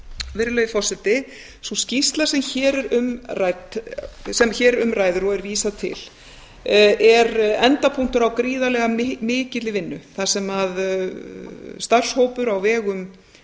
virðulegi forseti sú skýrsla sem hér um ræðir og er vísað til er endapunktur á gríðarlega mikilli vinnu þar sem starfshópur á vegum